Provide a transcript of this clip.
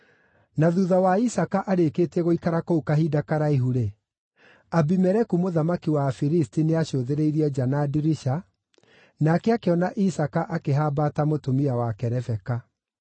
Na thuutha wa Isaaka arĩkĩtie gũikara kũu kahinda karaihu-rĩ, Abimeleku mũthamaki wa Afilisti nĩacũthĩrĩirie nja na ndirica, nake akĩona Isaaka akĩhambata mũtumia wake Rebeka.